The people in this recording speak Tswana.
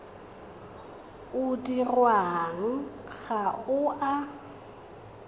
o dirwang ga o a